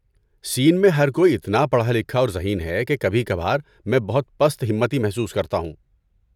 سین میں ہر کوئی اتنا پڑھا لکھا اور ذہین ہے، کہ کبھی کبھار میں بہت پست ہمتی محسوس کرتا ہوں۔